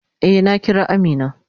Eh, na Kira Amina.